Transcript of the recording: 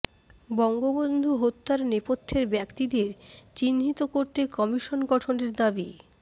বঙ্গবন্ধু হত্যার নেপথ্যের ব্যক্তিদের চিহ্নিত করতে কমিশন গঠনের দাবি